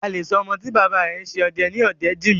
A lè sọ ọmọ tí bàbá rẹ̀ ń ṣe ọdẹ ní Ọdẹ́jìmí.